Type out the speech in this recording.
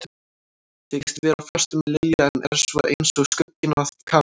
Þykist vera á föstu með Lilju en er svo eins og skugginn af Kamillu.